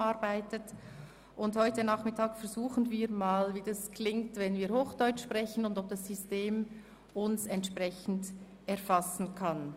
Heute Nachmittag versuchen wir einmal, wie es klingt, wenn wir Hochdeutsch sprechen, und ob dieses System uns besser erfassen kann.